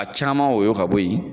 A caman woyo ka bɔ yen.